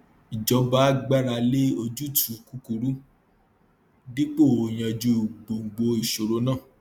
ìjọba gbára lé ojútùú kúkúrú dípò yanjú gbongbo ìṣòro náà